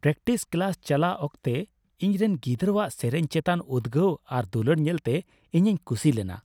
Practice class ᱪᱟᱞᱟᱜ ᱚᱠᱛᱚ ᱤᱧᱨᱮᱱ ᱜᱤᱫᱽᱨᱟᱹᱣᱟᱜ ᱥᱮᱨᱮᱟᱧ ᱪᱮᱛᱟᱱ ᱩᱫᱽᱜᱟᱹᱣ ᱟᱨ ᱫᱩᱞᱟᱹᱲ ᱧᱮᱞᱛᱮ ᱤᱧᱤᱧ ᱠᱩᱥᱤ ᱞᱮᱱᱟ ᱾